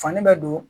Fani bɛ don